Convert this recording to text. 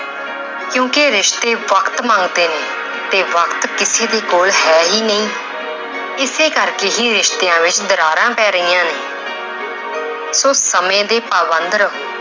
ਕਿਉਂਕਿ ਰਿਸ਼ਤੇ ਵਕਤ ਮੰਗਦੇ ਨੇ ਤੇ ਵਕਤ ਕਿਸੇ ਵੀ ਕੋਲ ਹੈ ਹੀ ਨਹੀਂ ਇਸੇ ਕਰਕੇ ਹੀ ਰਿਸ਼ਤਿਆਂ ਵਿੱਚ ਦਰਾਰਾਂ ਪੈ ਰਹੀਆਂ ਨੇ ਸੋ ਸਮੇਂ ਦੇ ਪਾਬੰਦ ਰਹੋ